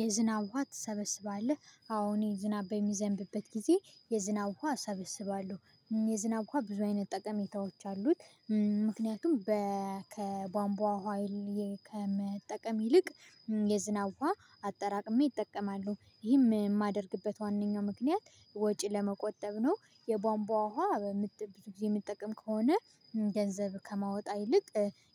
የዝናብ ውሃ ትሰበስባለህ አዎ እኔ ዝናብ በሚዘንብበት ጊዜ የዝናብ ውሃ እሰበስባለሁ የዝናብ ዉሃ ብዙ አይነት ጠቀሜታዎች አሉት። ምክንያቱም በ ከቧንቧ ሀይል ከመጠቀም ይልቅ የዝናብ ዉሃ አጠራቅሜ እጠቀማለሁ ይህም የማደርግበት ዋናኛው ምክንያት ወጪ ለመቆጠብ ነው። የቧንቧ ውሃ በምት ብዙ ጊዜ የምጠቀም ከሆነ ገንዘብ ከማወጣ ይልቅ።